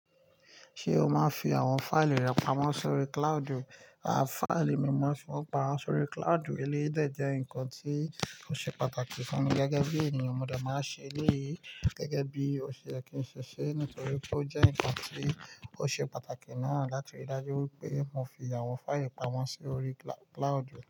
Ṣé o máa ń fi àwọn fáìlì rẹ pamọ́ sórí cloudu? A, fáìlì mí mo maa fi wòn pamọ́ sórí cloudu, eléyìí dẹ̀ jẹ́ nǹkan tí ó ṣe pàtàkì fún mi gẹ́gẹ́ bí ènìyàn. Mo de máa ń ṣe eléyìí gẹ́gẹ́ bí òṣe ye kí n ṣẹ́ṣe nítorí pé ó jẹ́ ǹkan tí ó ṣe pàtàkì náà láti rí dájú wípé mo fi àwọn fáìlì pamọ́ sórí cloudu.